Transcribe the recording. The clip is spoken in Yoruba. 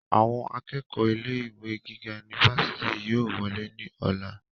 àwọn akẹ́kọ̀ọ́ ilé ìwé gíga unifásitì yóò wolé ní ọ̀la